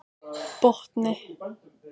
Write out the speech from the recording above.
Botni